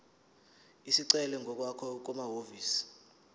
isicelo ngokwakho kumahhovisi